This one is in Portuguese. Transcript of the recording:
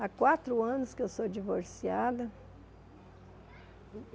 Há quatro anos que eu sou divorciada.